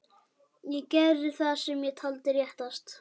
Ég gerði það sem ég taldi réttast.